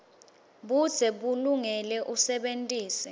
budze bulungile usebentise